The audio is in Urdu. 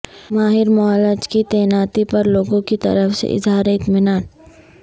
ماہر معالج کی تعیناتی پر لوگوں کی طرف سے اظہار اطمینان